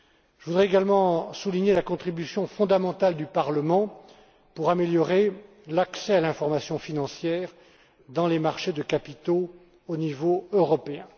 Je voudrais également souligner la contribution fondamentale du Parlement à l'amélioration de l'accès à l'information financière sur les marchés de capitaux au niveau européen.